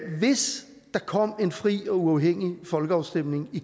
hvis der kom en fri og uafhængig folkeafstemning